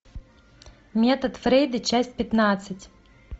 метод фрейда часть пятнадцать